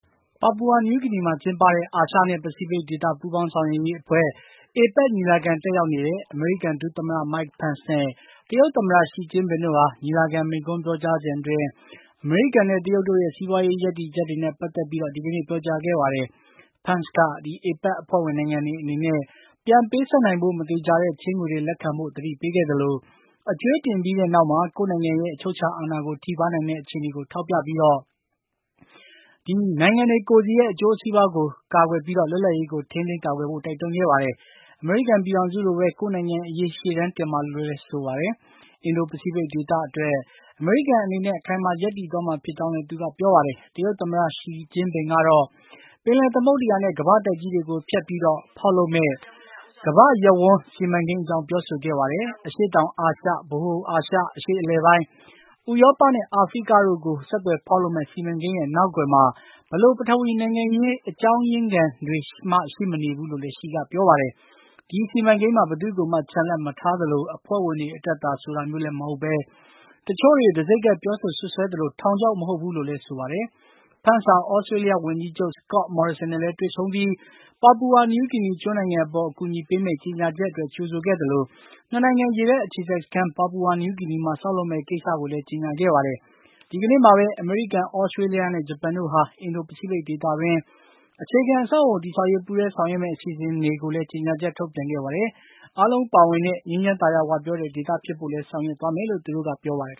ပါပူဝါနယူးဂီနီမှာ ကျင်းပတဲ့ အာရှနဲ့ ပစိဖိတ်ဒေသပူးပေါင်းဆောင်းရွက်ရေးအဖွဲ့ APEC ညီလာခံတက်ရောက်နေတဲ့ အမေရိကန် ဒုသမ္မတ Mike Pence နဲ့ တရုတ်သမ္မတ Xi Jinping တို့ဟာ ညီလာခံမိန့်ခွန်းပြောကြားစဉ်အတွင်း အမေရိကန်နဲ့ တရုတ်တို့ရဲ့ စီးပွါးရေးရပ်တည်ချက်တွေနဲ့ ပတ်သက်ပြီး ဒီကနေ့ ပြောကြားခဲ့ပါတယ်။ Pence က APEC အဖွဲ့ဝင်နိုင်ငံတွေအနေနဲ့ ပြန်ပေးဆပ်နိုင်ဖို့ မသေချာတဲ့ ချေးငွေတွေ လက်ခံဖို့ သတိပေးခဲ့သလို အကြွေးတင်ပြီးနောက်မှာ ကိုယ့်နိုင်ငံရဲ့ အချုပ်အခြာအာဏာကို ထိပါးနိုင်တဲ့အခြေအနေကိုထောက်ပြပြီး ကိုယ့်နိုင်ငံရဲ့ အကျိုးစီးပွါးကို ကာကွယ်ပြီး လွတ်လပ်ရေးကို ထိန်းသိမ်းကာကွယ်ဖို့ တိုက်တွန်းခဲ့ပါတယ်။ အမေရိကန်ပြည်ထောင်စုလိုပဲ ကိုယ့်နိုင်ငံအရေး ရှေ့တန်းတင်ပါလို့လည်း ဆိုပါတယ်။ အင်ဒို ပစိတ်ဖိတ်ဒေသအတွက် အမေရိကန်အနေနဲ့ အခိုင်အမာရပ်တည်သွားမှာ ဖြစ်ကြောင်းလည်း သူက ပြောပါတယ်။ တရုတ်သမ္မတ Xi ကတော့ ပင်လယ်သမုဒ္ဒရာနဲ့ ကမ္ဘာ့တိုက်ကြီးတွေကိုဖြတ်ပြီး ဖေါက်လုပ်မယ့် ကမ္ဘာ့ရပ်ဝန်း စီမံကိန်း အကြောင်း ပြောဆိုခဲ့ပါတယ်။ အရှေ့တောင်အာရှ၊ ဗဟိုအာရှ၊ အရှေ့အလယ်ပိုင်း၊ ဥရောပနဲ့ အာဖရိကတို့ကို ဆက်သွယ်ဖေါက်လုပ်မယ့် စီမံကိန်းရဲ့ နောက်ကွယ်မှာ ဘယ်လို ပထဝီနိုင်ငံရေး အကြောင်းရင်းနောက်ခံတွေမှလည်း ရှိမနေဘူးလို့ ရှီက ပြောပါတယ်။ ဒီစီမံကိန်းမှာ ဘယ်သူ့ကိုမှ ချန်လှပ်မထားသလို အဖွဲ့ဝင်တွေအတွက်သာ ဆိုတာမျိုးလည်းမဟုတ်ဘဲ၊ တချို့တွေ တံဆိပ်ကပ်ပြောဆိုစွပ်စွဲသလို ထောင်ခြောက်မဟုတ်ဘူးလို့လည်း ဆိုပါတယ်။ Pence ဟာ သြစတေးလျဝန်ကြီးချုပ် Scott Morrison နဲ့လည်း တွေ့ဆုံပြီး ပါပူဝါနယူးဂီနီကျွန်းနိုင်ငံအပေါ် အကူအညီပေးမယ့် ကြေညာချက်အတွက် ကြိုဆိုခဲ့သလို ၂ နိုင်ငံ ရေတပ်အခြေစိုက်စခန်း ပါပူဝါနယူးဂီနီမှာ ဆောက်လုပ်မယ့် ကိစ္စကိုလည်း ကြေညာခဲ့ပါတယ်။ ဒီကနေ့မှာဘဲ အမေရိကန်၊ သြစတေးလျနဲ့ ဂျပန်တို့ဟာ အင်ဒို ပစိတ်ဖိတ်ဒေသအတွင်း အခြေခံအဆောက်အအုံတည်ဆောက်ရေး ပူးတွဲဆောင်ရွက်မယ့် အစီအစဉ်ကိုလည်း ကြေညာချက်ထုတ်ပြန်ခဲ့ပါတယ်။ အားလုံးပါဝင်တဲ့ ငြိမ်းချမ်းသာယာဝပြောတဲ့ ဒေသဖြစ်ဖို့လည်း ဆောင်ရွက်သွားမယ်လို့ သူတို့က ပြောပါတယ်